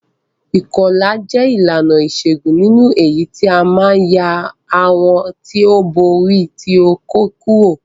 Ìkọlà jẹ ìlànà ìṣégún nínú èyítí a ti ma n ya awọ ti o bo ori ti okó kurò.